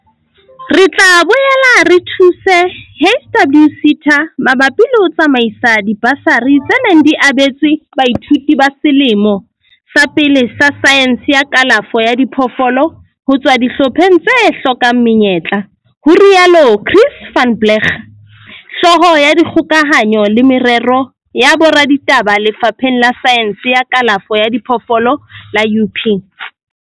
Re tla boela re thuse HWSETA mabapi le ho tsamaisa dibasari, tse neng di abetswe baithuti ba selemo sa pele sa saense ya kalafo ya diphoofolo ho tswa dihlopheng tse hlokang menyetla, ho rialo Chris van Blerk, Hlooho ya Dikgokahanyo le Merero ya Boraditaba Lefapheng la Saense ya Kalafo ya Diphoofolo la UP.